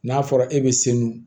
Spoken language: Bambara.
N'a fɔra e be selu